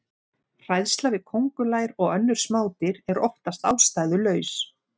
Hræðsla við köngulær og önnur smádýr er oftast ástæðulaus.